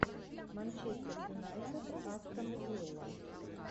манчестер юнайтед астон вилла